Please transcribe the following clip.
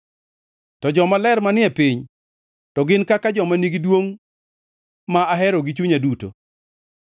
To jomaler manie piny, to gin kaka joma nigi duongʼ ma ahero gi chunya duto.